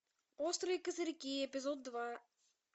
острые козырьки эпизод два